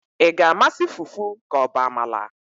ị ga-amasị fufu ka ọ bụ amala?